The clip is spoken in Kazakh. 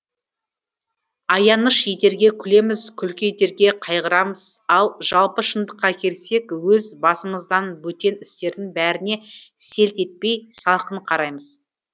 аяныш етерге күлеміз күлкі етерге қайғырамыз ал жалпы шындыққа келсек өз басымыздан бөтен істердің бәріне селт етпей салқын қараймыз